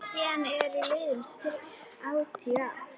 Síðan eru liðin þrjátíu ár.